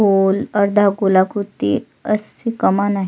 गोल अर्धा गोलाकृती असी कमान आहे.